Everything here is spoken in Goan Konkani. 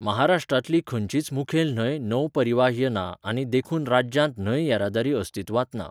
महाराष्ट्रांतली खंयचीच मुखेल न्हंय नौपरिवाहय ना आनी देखून राज्यांत न्हंय येरादारी अस्तित्वांत ना.